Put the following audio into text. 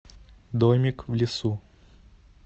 домик в лесу